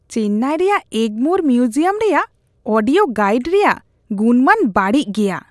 ᱪᱮᱱᱱᱟᱭ ᱨᱮᱭᱟᱜ ᱮᱜᱢᱳᱨ ᱢᱤᱭᱩᱡᱤᱭᱟᱢ ᱨᱮᱭᱟᱜ audio guide ᱨᱮᱭᱟᱜ ᱜᱩᱱᱢᱟᱱ ᱵᱟᱹᱲᱤᱡ ᱜᱮᱭᱟ ᱾